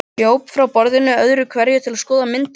Hljóp frá borðinu öðru hverju til að skoða myndirnar.